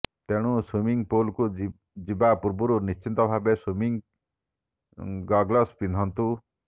ତେଣୁ ସୁଇମିଙ୍ଗ୍ ପୁଲକୁ ଯିବା ପୂର୍ବରୁ ନିଶ୍ଚିତ ଭାବେ ସୁଇମିଙ୍ଗ୍ ଗଗଲସ୍ ପିନ୍ଧନ୍ତୁ